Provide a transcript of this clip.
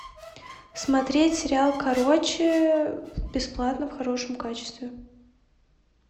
смотреть сериал короче бесплатно в хорошем качестве